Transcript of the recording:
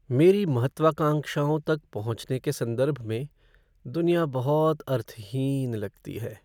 मेरी महत्वाकांक्षाओं तक पहुँचने के संदर्भ में, दुनिया बहुत अर्थहीन लगती है।